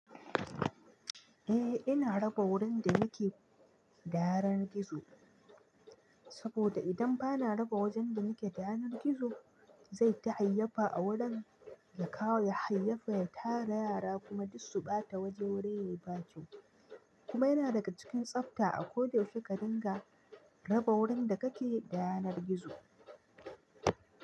Eh ina raba wurin da nake da yanar gizo saboda idan bana raba wajen da nake da yanar gizo zai ta hayyafa a wurin ya kawo ya hayyafa ya tara yara kuma duk su ɓata waje wuri yayi ɓaci kuma yana daga cikin tsafta a ko da yaushe ka dinga raba wurin da kake da yanar gizo.